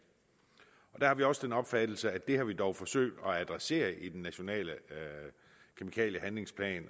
der har vi også den opfattelse at det har vi dog forsøgt at adressere i den nationale kemikaliehandlingsplan